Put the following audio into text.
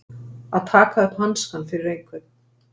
Að taka upp hanskann fyrir einhvern